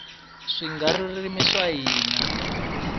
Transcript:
swigaririmi swa hina